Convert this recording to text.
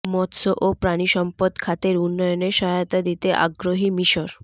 মৎস্য ও প্রাণিসম্পদ খাতের উন্নয়নে সহায়তা দিতে আগ্রহী মিশর